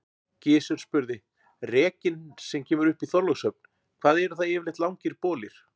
Gizur spurði:-Rekinn sem kemur upp í Þorlákshöfn, hvað eru það yfirleitt langir bolir?